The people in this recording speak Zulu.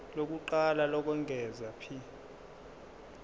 lokuqala lokwengeza p